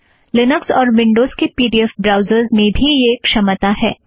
Linux और Windows के P D F browsers में भी यह क्षमता है